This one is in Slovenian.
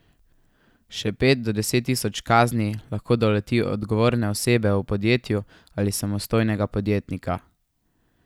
Še pet do deset tisoč kazni lahko doleti odgovorne osebe v podjetju ali samostojnega podjetnika.